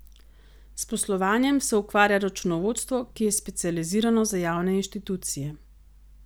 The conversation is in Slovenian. S poslovanjem se ukvarja računovodstvo, ki je specializirano za javne inštitucije.